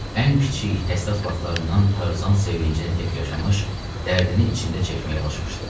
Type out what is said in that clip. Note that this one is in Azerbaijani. Ən kiçik, həssas baxışlarından Tarzan sevincini tək yaşamış, dərdini içində çəkməyə alışmışdı.